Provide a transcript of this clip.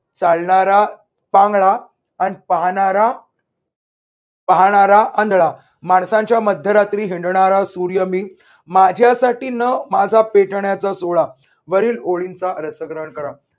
चालणारा पांगळा आणि पाहणारा पाहणारा आंधळा. माणसांच्या मध्यरात्री हिंडणारा सूर्य मी माझ्यासाठी न माझा पेटण्याचा सोहळा वरील ओळींचा रसग्रहण करा.